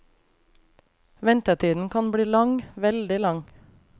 Ventetiden kan bli lang, veldig lang.